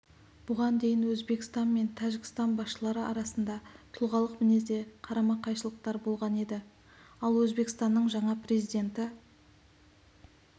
бұған дейін өзбекстан мен тәжікстан басшылары арасында тұлғалық мінезде қарама-қайшылықтар болған еді ал өзбекстанның жаңа президенті